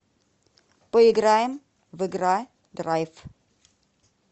поиграем в игра драйв